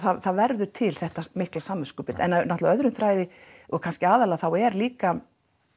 það verður til þetta mikla samviskubit en náttúrulega öðrum þræði og kannski aðallega þá er líka